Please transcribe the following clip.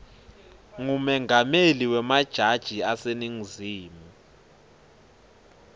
ngumengameli wemajaji aseningizimu